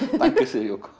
á enter